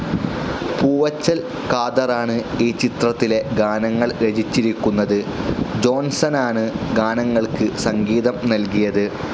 പൂവച്ചൽ ഖാദറാണ് ഈ ചിത്രത്തിലെ ഗാനങ്ങൾ രചിച്ചിരിക്കുന്നത്. ജോൺസനാണ് ഗാനങ്ങൾക്ക് സംഗീതം നൽകിയത്.